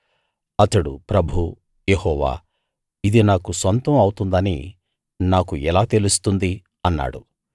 అతడు ప్రభూ యెహోవా ఇది నాకు సొంతం అవుతుందని నాకు ఎలా తెలుస్తుంది అన్నాడు